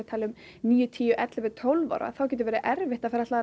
níu tíu ellefu tólf ára þá getur verið erfitt að ætla að